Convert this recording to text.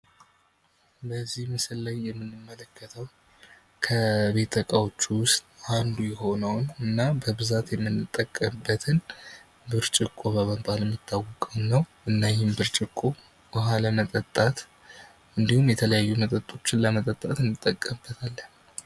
በዚህ ምስል ላይ የምንመለከተው ከቤት እቃዎች አንዱ የሆነውንና በብዛት የምንጠቀምበትን ብርጭቆ በመባል የሚታወቀውን ነው። እና ይህን ብርጭቆ ውሃ ለመጠጣት እንድሁም የተለያዩ መጠጦችን ለመጠጣት እንጠቀምበታለን።